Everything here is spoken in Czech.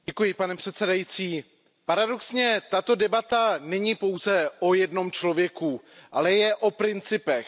Pane předsedající, paradoxně tato debata není pouze o jednom člověku, ale je o principech.